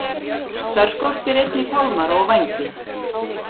Þær skortir einnig fálmara og vængi.